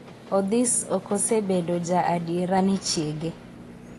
Odhis ok osebedo ja adiera ne chiege